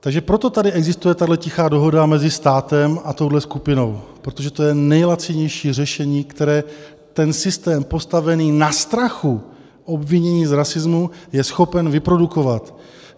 Takže proto tady existuje tahle tichá dohoda mezi státem a touhle skupinou, protože to je nejlacinější řešení, které ten systém postavený na strachu obvinění z rasismu je schopen vyprodukovat.